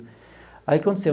Aí, o que aconteceu?